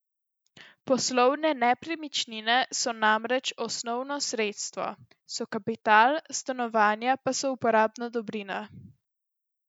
Poslovne nepremičnine so namreč osnovno sredstvo, so kapital, stanovanja pa so porabna dobrina.